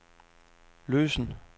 løsen